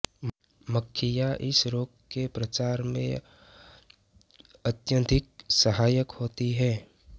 मक्खियाँ इस रोग के प्रसार में अत्यधिक सहायक होती हैं